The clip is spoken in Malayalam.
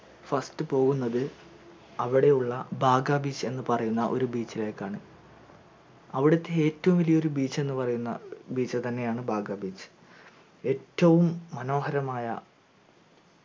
first പോകുന്നത് അവിടെയുള്ള ബാഗാ beach എന്നുപറയുന്ന ഒരു beach ഇലെക് ആണ് അവിടത്തെ ഏറ്റവും വലിയ ഒരു beach എന്ന് പറയുന്ന beach തന്നെയാണ് ബാഗാ beach എറ്റവും മനോഹരമായ